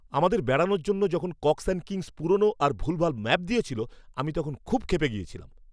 আমাদের বেড়ানোর জন্য যখন কক্স অ্যান্ড কিংস পুরনো আর ভুলভাল ম্যাপ দিয়েছিল আমি তখন খুব ক্ষেপে গিয়েছিলাম।